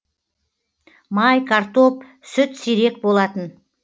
май картоп сүт сирек болатын